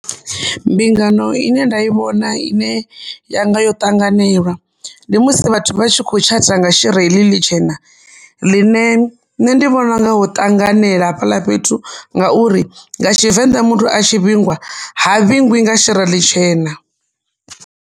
Mbingano ine nda i vhona ine yanga yo ṱanganelwa ndi musi vhathu vha tshi kho tshata nga shira heḽi ḽi tshena ḽine nṋe ndi vhona unga ho ṱanganela hafhaḽa fhethu, ngauri nga Tshivenda muthu a tshi vhingwa, ha vhingwi nga shira ḽitshena.